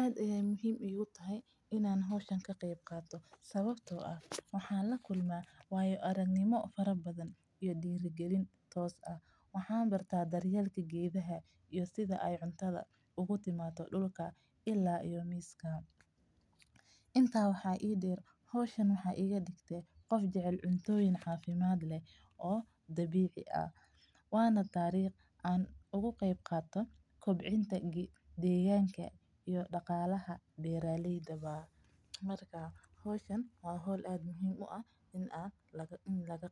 Aad ayeey muhiim iigu tahay inaan ka qeeb qaato waxeey dar yeel iyo sida aay cunta u imato, waxeey iga digte qof jecel cunto nafaqo leh, marka howshan waa howl muhiim ah in laga